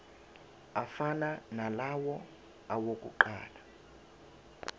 afana nalawo awokuqala